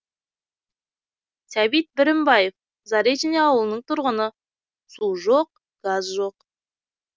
сәбит бірімбаев заречный ауылының тұрғыны су жоқ газ жоқ